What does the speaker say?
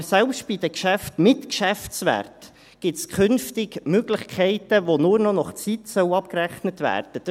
Aber selbst bei den Geschäften mit Geschäftswert gibt es künftig Möglichkeiten, bei denen nur noch nach Zeit abgerechnet werden soll.